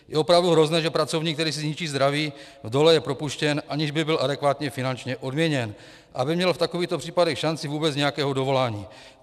Je opravdu hrozné, že pracovník, který si zničí zdraví v dole, je propuštěn, aniž by byl adekvátně finančně odměněn a měl v takových případech šanci vůbec nějakého dovolání.